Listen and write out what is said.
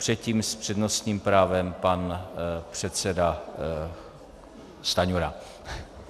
Předtím s přednostním právem pan předseda Stanjura.